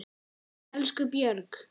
Elsku Björg.